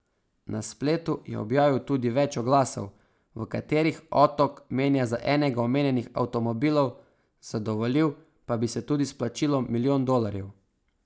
Na spletu je objavil tudi več oglasov, v katerih otok menja za enega omenjenih avtomobilov, zadovoljil pa bi se tudi s plačilom milijon dolarjev.